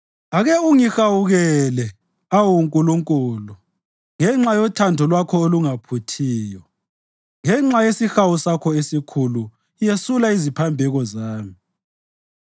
Ake ungihawukele, awu Nkulunkulu, ngenxa yothando lwakho olungaphuthiyo; ngenxa yesihawu sakho esikhulu yesula iziphambeko zami.